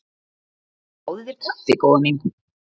Fáðu þér kaffi góða mín.